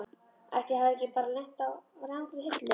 Ætli ég hafi ekki bara lent á rangri hillu.